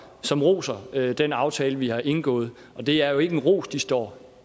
som roser den aftale vi har indgået det er jo ikke en ros de står